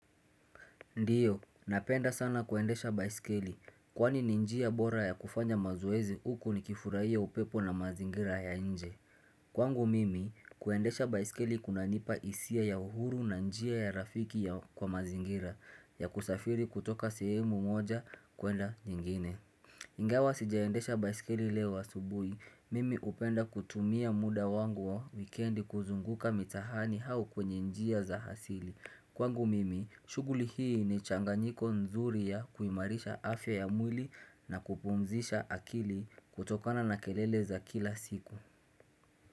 Ndiyo, napenda sana kuendesha baisikeli, kwani ni njia bora ya kufanya mazoezi uku ni kifurahia upepo na mazingira ya nje. Kwangu mimi, kuendesha baisikeli kuna nipa isia ya uhuru na njia ya rafiki ya kwa mazingira, ya kusafiri kutoka sehemu moja kuenda nyingine. Ingawa sijaendesha baisikeli leo subuhi, mimi upenda kutumia muda wangu wa weekendi kuzunguka mitahani hau kwenye njia za hasili. Kwangu mimi, shughuli hii ni changanyiko nzuri ya kuimarisha afya ya mwili na kupumzisha akili kutokana na kelele za kila siku.